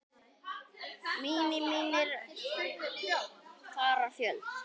Mínir vinir fara fjöld